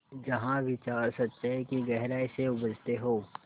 जहाँ विचार सच्चाई की गहराई से उपजतें हों